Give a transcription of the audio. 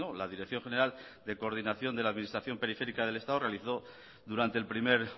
la dirección general de coordinación de la administración periférica del estado realizó durante el primer